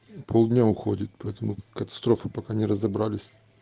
полдня уходит поэтому катастрофы пока не разобрались